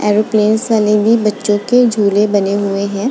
Airplane बच्चों के झूले बने हुए है।